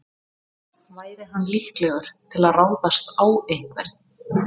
Væri hann líklegur til að ráðast á einhvern?